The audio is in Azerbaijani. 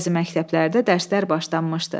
Bəzi məktəblərdə dərslər başlanmışdı.